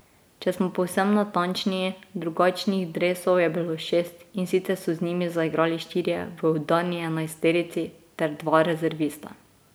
Če smo povsem natančni, drugačnih dresov je bilo šest, in sicer so z njimi zaigrali štirje v udarni enajsterici ter dva rezervista.